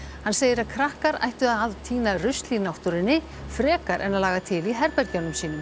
hann segir að krakkar ættu að tína rusl í náttúrunni frekar en að laga til í herbergjunum sínum